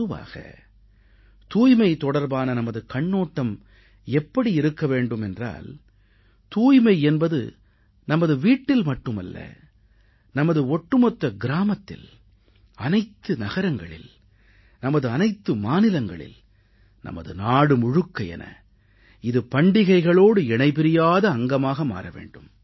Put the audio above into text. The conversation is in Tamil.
பொதுவாக தூய்மை தொடர்பான நமது கண்ணோட்டம் எப்படி இருக்க வேண்டும் என்றால் தூய்மை என்பது நமது வீட்டில் மட்டுமல்ல நமது ஒட்டுமொத்த கிராமத்தில் அனைத்து நகரங்களில் நமது அனைத்து மாநிலங்களில் நமது நாடு முழுக்க என இது பண்டிகைகளோடு இணைபிரியாத அங்கமாக மாற வேண்டும்